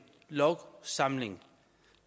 lovsamling